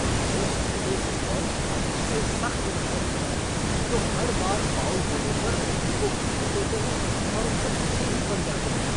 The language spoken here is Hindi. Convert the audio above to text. मुझे ऐसे फ़ुटबॉल खिलाड़ियों से सख्त नफ़रत है जो हर बार फ़ाउल होने पर रेफ़री को घेर लेते हैं और उनके पीछे ही पड़ जाते हैं।